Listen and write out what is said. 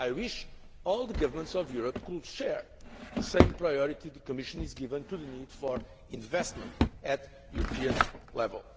I wish all governments of Europe could share the same priority the Commission is giving to the need for investment at European level.